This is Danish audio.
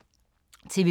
TV 2